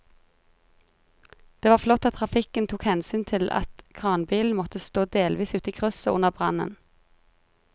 Det var flott at trafikken tok hensyn til at kranbilen måtte stå delvis ute i krysset under brannen.